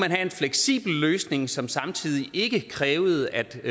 have en fleksibel løsning som samtidig ikke krævede at